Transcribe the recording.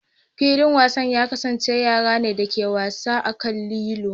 Filin wasan ya kasance yara ne da ke wasa a kan lilo.